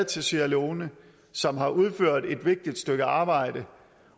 til sierra leone og som har udført et vigtigt stykke arbejde